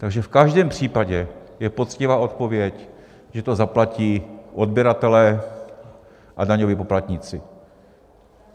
Takže v každém případě je poctivá odpověď, že to zaplatí odběratelé a daňoví poplatníci.